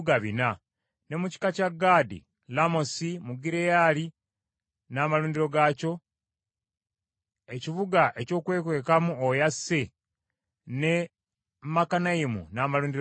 Ne mu kika kya Gaadi, Lamosi mu Gireyaali n’amalundiro gaakyo, ekibuga ekyokwekwekamu oyo asse, ne Makanayimu n’amalundiro gaakyo.